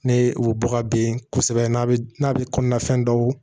Ne u bɛ bɔ ka ben kosɛbɛ n'a bɛ n'a bɛ kɔnɔna fɛn dɔw